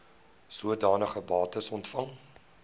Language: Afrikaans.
sodanige bates ontvang